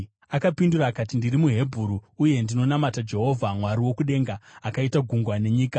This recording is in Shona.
Akapindura akati, “Ndiri muHebheru, uye ndinonamata Jehovha, Mwari wokudenga, akaita gungwa nenyika.”